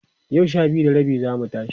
yau Sha biyu da rabi zamu tashi